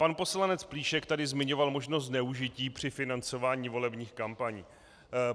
Pan poslanec Plíšek tady zmiňoval možnost zneužití při financování volebních kampaní.